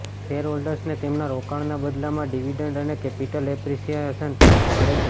શેરહોલ્ડર્સને તેમના રોકાણના બદલામાં ડિવિડન્ડ અને કેપિટલ એપ્રિસિએશન મળે છે